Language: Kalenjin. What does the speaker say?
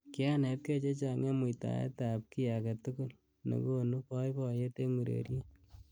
Kianetkei chechang eng muitaet ab ki age tugul nekonu boiboyet eng ureriet.